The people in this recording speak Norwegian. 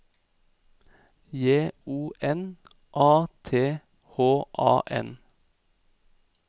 J O N A T H A N